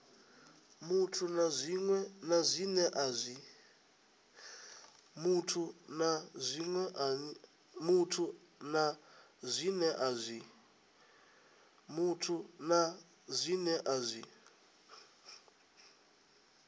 muthu na zwine a zwi